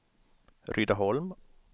Rydaholm